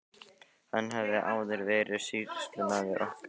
Hann hafði áður verið sýslumaður okkar um tíma.